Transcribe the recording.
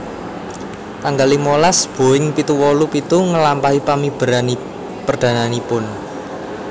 Tanggal limolas Boeing pitu wolu pitu nglampahi pamiberan perdananipun